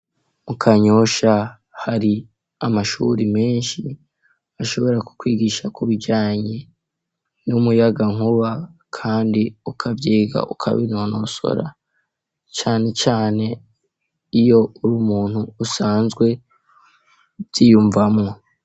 mukanyosha hari amashuri menshi ashobora kukwigisha kubijanye n'umuyaga nkuba kandi ukavyiga ukabinonosora cane cane iyo uri umuntu usanzwe uvyiyumvamwo